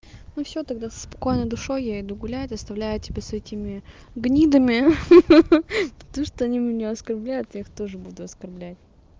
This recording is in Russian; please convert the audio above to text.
ну всё тогда со спокойной душой я иду гуляю оставляю тебя с этими гнидами ха-ха потому что они меня оскорбляют я их тоже буду оскорблять